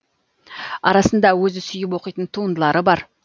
арасында өзі сүйіп оқитын туындылары бар